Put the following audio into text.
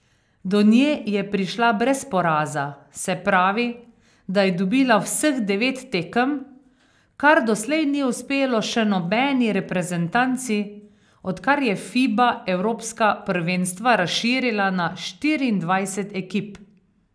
Do nje je prišla brez poraza, se pravi, da je dobila vseh devet tekem, kar doslej ni uspelo še nobeni reprezentanci, odkar je Fiba evropska prvenstva razširila na štiriindvajset ekip.